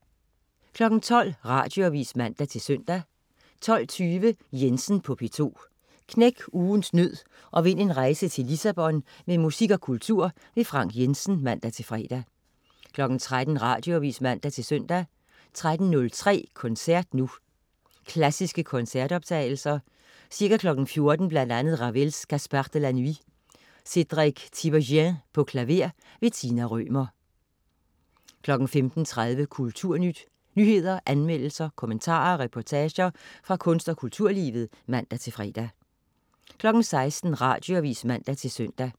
12.00 Radioavis (man-søn) 12.20 Jensen på P2. Knæk ugens nød og vind en rejse til Lissabon med musik og kultur. Frank Jensen (man-fre) 13.00 Radioavis (man-søn) 13.03 Koncert nu. Klassiske koncertoptagelser. Ca. 14.00 Bl.a. Ravel: Gaspard de la Nuit. Cedric Tiberghien, klaver. Tina Rømer 15.30 Kulturnyt. Nyheder, anmeldelser, kommentarer og reportager fra kunst- og kulturlivet (man-fre) 16.00 Radioavis (man-søn)